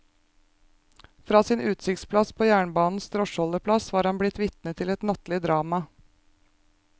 Fra sin utsiktsplass på jernbanens drosjeholdeplass var han blitt vitne til et nattlig drama.